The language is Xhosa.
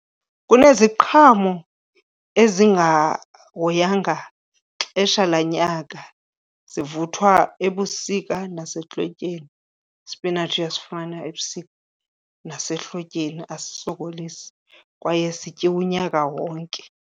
Kuneziqhamo ezingahoyanga xesha lanyaka, zivuthwa ebusika nasehlotyeni. Ispinatshi uyasifumana ebusika nasehlotyeni, asisokolisi kwaye sityiwa unyaka wonke.